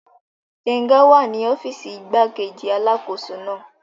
Gbénga wà ní ọ́fìsì igbákejì alákóso náà